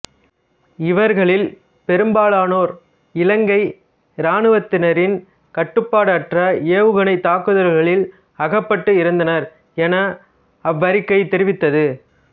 இவர்களில் பெரும்பாலானோர் இலங்கை இராணுவத்தினரின் கட்டுப்பாடற்ற ஏவுகணைத் தாக்குதல்களில் அகப்பட்டு இறந்தனர் என அவ்வறிக்கை தெரிவித்தது